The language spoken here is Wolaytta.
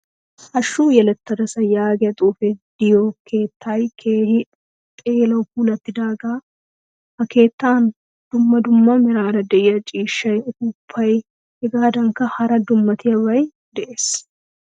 Hashshu yelettadasa yaagiyaa xuufe de'iyo keettay keehin xeelawu puulattidaga. Ha keettan dumma dumma meraara de'iyaa ciishshay uppupay hegadankka hara dummatiyabay de'ees.